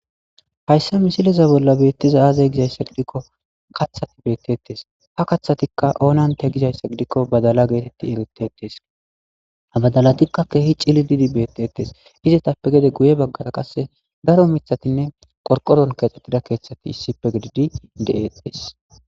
Hayssa misileza bolla beettiza aazay gizayssa gidikko kathati beettettes ha kathatikka oonante gizayssa gidikko badala geetetti egetettes abadalatikka keehi cillididi bettetes izatappe gede guye baggara qasse daro mithatinne qorqoron keexxettida keeththati issippe gididi de'ees.